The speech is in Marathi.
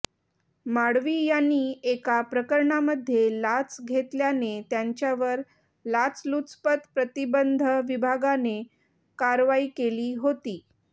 माळवी यांनी एका प्रकरणामध्ये लाच घेतल्याने त्यांच्यावर लाचलुचपत प्रतिबंध विभागाने कारवाई केली होती